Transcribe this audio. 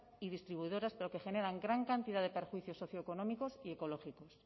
y distribuidoras pero que generan gran cantidad de perjuicios socioeconómicos y ecológicos